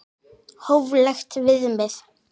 Hóflegt viðmið?